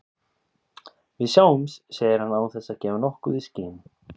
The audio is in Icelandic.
Við sjáumst, segir hann án þess að gefa nokkuð í skyn.